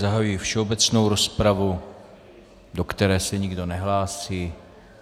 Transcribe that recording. Zahajuji všeobecnou rozpravu, do které se nikdo nehlásí.